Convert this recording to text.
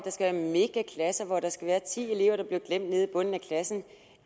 lave megaklasser hvor der skal være ti elever der bliver glemt nede i bunden af klassen